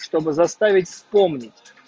чтобы заставить вспомнить